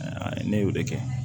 ne y'o de kɛ